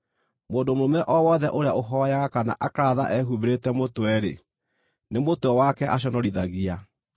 Mũndũ mũrũme o wothe ũrĩa ũhooyaga kana akaratha ehumbĩrĩte mũtwe-rĩ, nĩ mũtwe wake aconorithagia.